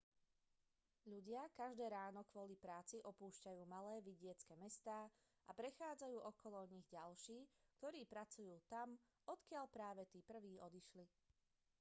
ľudia každé ráno kvôli práci opúšťajú malé vidiecke mestá a prechádzajú okolo nich ďalší ktorí pracujú tam odkiaľ práve tí prví odišli